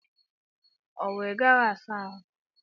Owu Ị gaghị asa ahụ?